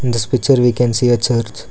this picture we can see a church.